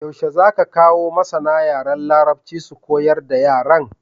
Yaushe zaka kawo masAna yaran larabci su koyar da yaran?